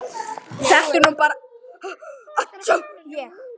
Þetta er nú bara ég!